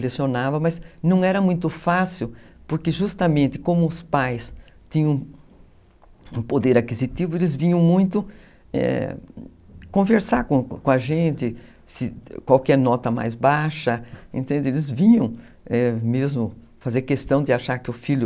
Lecionava, mas não era muito fácil, porque justamente como os pais tinham um poder aquisitivo, eles vinham muito, eh... conversar com a gente, qual que é a nota mais baixa, eles vinham mesmo fazer questão de achar que o filho...